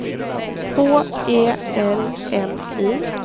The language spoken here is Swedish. H E L M I